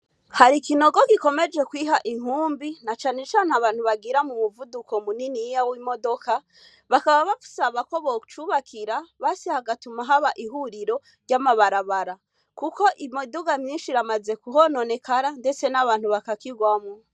Hari ikinogo gikomeje kwiha inkumbi na canecane abantu bagira mu muvuduko munini yiya w'imodoka bakaba bausabako bocubakira basi hagatuma haba ihuriro ry'amabarabara, kuko imuduga myinshi ramaze ku hononekara, ndetse n'abantu bakakirwamwo.